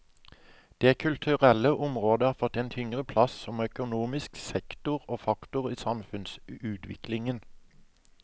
Det kulturelle området har fått en tyngre plass som økonomisk sektor og faktor i samfunnsutviklingen.